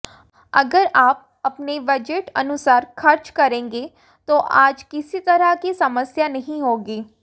अगर आप अपने बजट अनुसार खर्च करेंगे तो आज किसी तरह की समस्या नहीं होगी